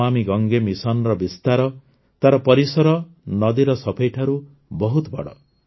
ନମାମି ଗଙ୍ଗେ ମିଶନର ବିସ୍ତାର ତାର ପରିସର ନଦୀର ସଫେଇଠାରୁ ବହୁତ ବଡ଼